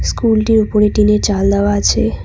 স্কুলটির উপরে টিনের চাল দেওয়া আছে।